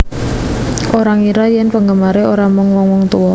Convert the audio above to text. Ora ngira yen penggemare ora mung wong wong tuwa